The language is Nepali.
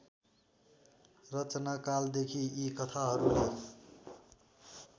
रचनाकालदेखि यी कथाहरूले